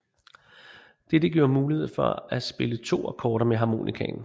Dette giver mulighed for at spille to akkorder med harmonikaen